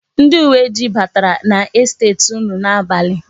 Ndi uweojii batara n'estet unu n'abalị.